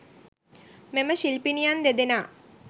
මෙම ශිල්පිනියන් දෙදෙනා